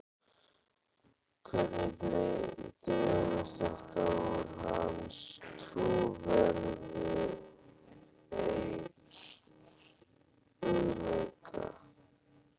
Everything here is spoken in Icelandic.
Hvernig dregur þetta úr hans trúverðugleika?